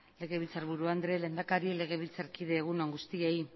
legebiltzarburu andrea lehendakaria legebiltzarkideok egun on guztioi